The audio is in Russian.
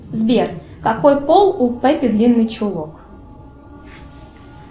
сбер какой пол у пеппи длинный чулок